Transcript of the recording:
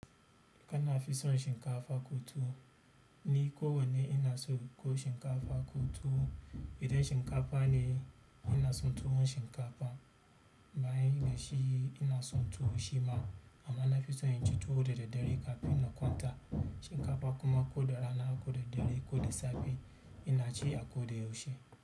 Kana fi son shinkafa ko tuwo? Ni ko wane ina son ko shinkafa ko tuwo. Idan shinkafa ne ina son tuwon shinkafa. Bayan dashi, ina son tuwo shima amma nafi son na ci tuwo da daddare kafin na kwanta. Shinkafa kuma ko da rana ko da dare, ko da safe ina ci a ko da yaushe.